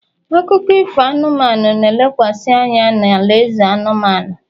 akụkọ ifo anụmanụ, na-elekwasị anya na alaeze anụmanụ